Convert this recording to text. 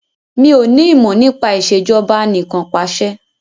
Mí ò ní ìmọ̀ nípa Ìṣèjọba Anìkanpàṣẹ